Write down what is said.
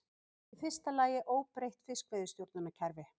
Í fyrsta lagi óbreytt fiskveiðistjórnunarkerfi